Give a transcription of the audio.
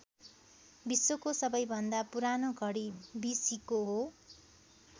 विश्वको सबैभन्दा पुरानो घडी बी सीको हो।